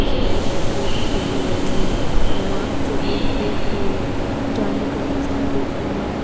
इसमें ये कपड़े सूखे हुए हैं वहां से एंट्री के लिए जाने का रास्ता दिख रहा है।